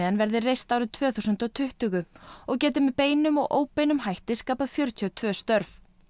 verði reist árið tvö þúsund og tuttugu og geti með beinum og óbeinum hætti skapað fjörutíu og tvö störf